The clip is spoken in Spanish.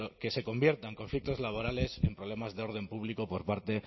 que se conviertan conflictos laborales en problemas de orden público por parte